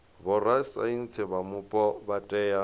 vhorasaintsi vha mupo vha tea